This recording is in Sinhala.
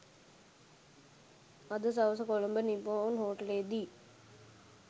අද සවස කොළඹ නි‍පොන් හෝටලයේ දී